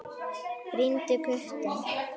Brýndu kutann.